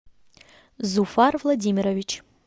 зуфар владимирович